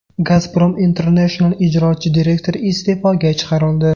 Gazprom International ijrochi direktori iste’foga chiqarildi.